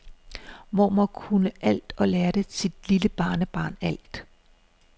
Mormor kunne alt og lærte sit lille barnebarn alt.